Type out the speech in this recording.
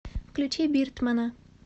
включи биртмана